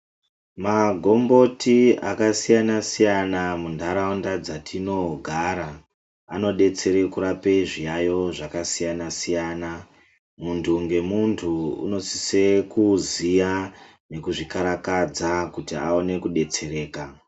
Magomboti akasiyana siyana muntaraunda dzatinogara anodetsere kurape zviyayo zvakasiyana siyana, muntu ngemuntu unosise kuziya nekuzvikarakadza kuti aone kudetsereka